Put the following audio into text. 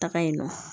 Taga yen nɔ